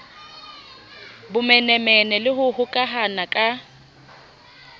bomenemene le ho hokahana ka